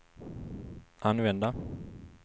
använda